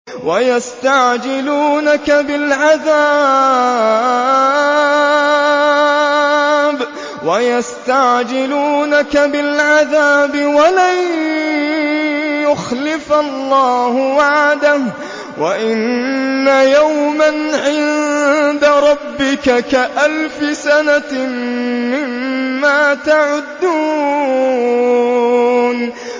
وَيَسْتَعْجِلُونَكَ بِالْعَذَابِ وَلَن يُخْلِفَ اللَّهُ وَعْدَهُ ۚ وَإِنَّ يَوْمًا عِندَ رَبِّكَ كَأَلْفِ سَنَةٍ مِّمَّا تَعُدُّونَ